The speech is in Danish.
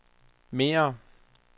mere